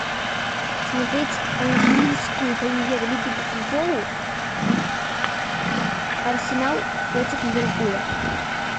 смотреть английскую премьер лигу по футболу арсенал против ливерпуля